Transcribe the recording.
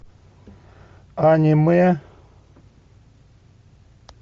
аниме